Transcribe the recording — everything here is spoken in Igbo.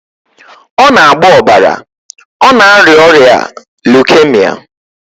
Ọ na-agbọ ọbara, ọ na-arịa ọrịa leukemia